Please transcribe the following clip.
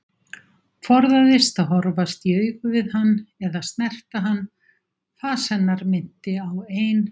Forðaðist að horfast í augu við hann eða snerta hann, fas hennar minnti á ein